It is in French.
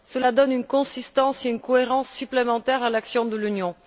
Cela donne une consistance et une cohérence supplémentaires à l'action de l'Union.